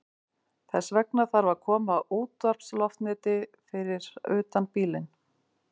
Þess vegna þarf að koma útvarpsloftneti fyrir utan bílinn.